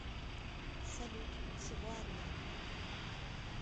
салют всего одна